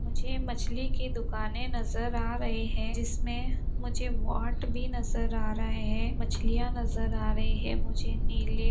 मुझे मछली की दुकानें नजर आ रही है जिसमें मुझे वाट भी नजर आ रहा है मछलियाँ नजर आ रही है मुझे नीले --